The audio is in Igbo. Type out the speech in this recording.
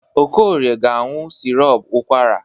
Okorie ga-aṅụ sirop ụkwara.